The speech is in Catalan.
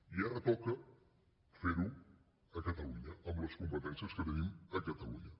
i ara toca fer ho a catalunya amb les competències que tenim a catalunya